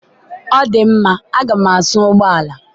ọ dị mma a ga m asa ụgbọ ala